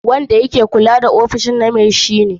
Wanda yake kula da ofishin na mai shi ne.